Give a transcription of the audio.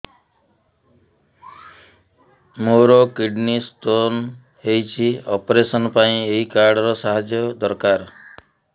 ମୋର kidney stone ହଇଛି operation ପାଇଁ ଏହି କାର୍ଡ ର ସାହାଯ୍ୟ ଦରକାର